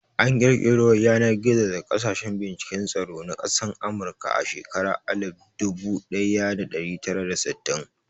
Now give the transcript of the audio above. An ƙirƙiro Yanar-gizo daga sashen binciken tsaro na ƙasan amurka a shekaran Alif budu daya da dari tara da sittin.